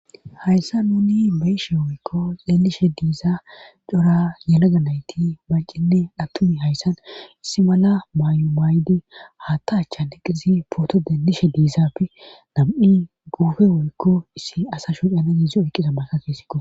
hayssa nuni beeshe woykko deelishe diiza cora yanaga nayti malcinne dhattumi hayssan issi mala maayo maaydi haatta achchan iqqizi pooto deenlishe diizapfi nam7i guufe woykko issi asa shuyana yiizi oyqiza masa keesikko